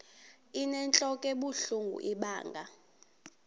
inentlok ebuhlungu ibanga